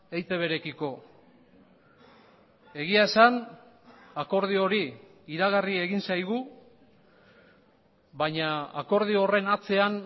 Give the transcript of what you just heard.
eitb rekiko egia esan akordio hori iragarri egin zaigu baina akordio horren atzean